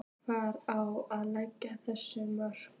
Hvar á að leggja þessi mörk?